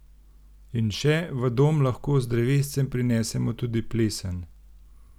In še, v dom lahko z drevescem prinesemo tudi plesen!